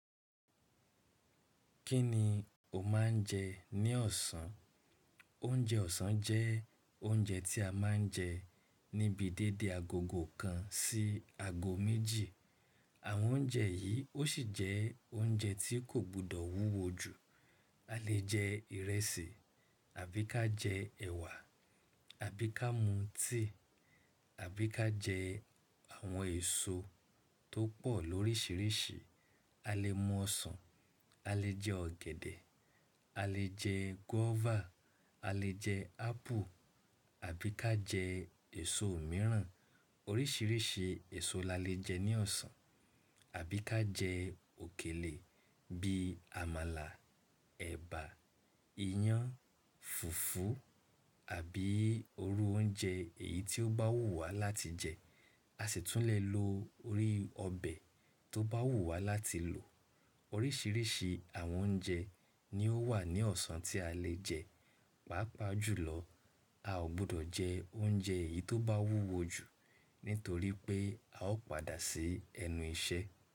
Kí ni o máa ń jẹ ní ọ̀sán? Oúnjẹ ọ̀sán jẹ́ oúnjẹ tí a máa ń jẹ níbi dédé agogo kan sí aago méjì. Àwọn oúnjẹ yìí ó sì jẹ́ oúnjẹ tí kò gbọdọ̀ wúwo jù. A lè jẹ ìrẹsì, àbí ká jẹ ẹ̀wà, àbí ká mú tíì, àbí ká jẹ àwọn èso tó pọ̀ lóríṣiríṣi. A lè mú ọsàn, a lè jẹ ọ̀gẹ̀dẹ̀, a lè jẹ guava, a lè jẹ ápù, àbí ká jẹ èso mìíràn. Oríṣiríṣi èso la lè jẹ ní ọ̀sán, àbí ká jẹ òkèlè bíi amala, ẹ̀bà, iyán, fùfú àbí irú oúnjẹ èyí tí ó bá wù wá láti jẹ. A sì tún lè lo orí ọbẹ̀ tó bá wù wá láti lò. Oríṣiríṣi àwọn oúnjẹ ni ó wà ní ọ̀sán tí a lè jẹ. Pàápàá jùlọ, a ò gbọdọ̀ jẹ oúnjẹ èyí tó bá wúwo jù nítorí pé a ó padà sí ẹnu iṣẹ́.